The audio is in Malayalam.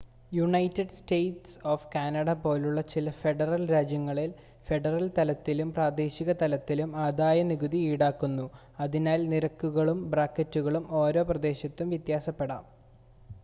യുണൈറ്റഡ് സ്റ്റേറ്റ്സ് കാനഡ പോലുള്ള ചില ഫെഡറൽ രാജ്യങ്ങളിൽ ഫെഡറൽ തലത്തിലും പ്രാദേശിക തലത്തിലും ആദായനികുതി ഈടാക്കുന്നു അതിനാൽ നിരക്കുകളും ബ്രാക്കറ്റുകളും ഓരോ പ്രദേശത്തും വ്യത്യാസപ്പെടാം